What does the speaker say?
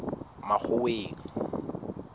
makgoweng